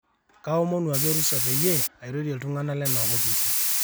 kaomonu ake orusa peyie airorie iltungana lena opisi